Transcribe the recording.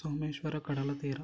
ಸೋಮೇಶ್ವರ ಕಡಲ ತೀರ